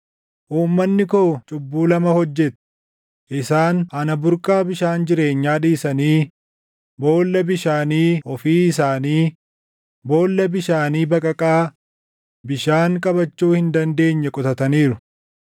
“Uummanni koo cubbuu lama hojjete: Isaan ana burqaa bishaan jireenyaa dhiisanii boolla bishaanii ofii isaanii, boolla bishaanii baqaqaa bishaan qabachuu hin dandeenye qotataniiru.